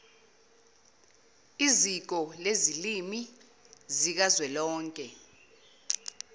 iziko lezilimi zikazwelonke